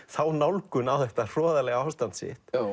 þá nálgun á þetta hroðalega ástand sitt